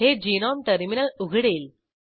हे GNOME terminal उघडेल